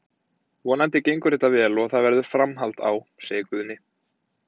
Vonandi gengur þetta vel og það verður framhald á, segir Guðni.